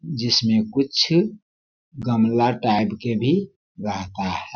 जिसमें कुछ गमला टाईप के भी रहता हैं।